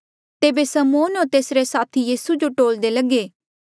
तेबे समौन होर तेसरे साथी यीसू जो टोल्दे लगे